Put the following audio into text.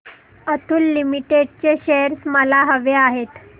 Atul limited चे shares मला हवे आहेत